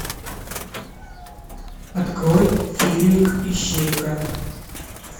открой фильмик ищейка